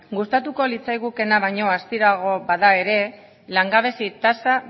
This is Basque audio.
gustatuko litzaigukeena baino astiroago bada ere langabezi tasa